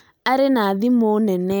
Arĩ na thimũ nene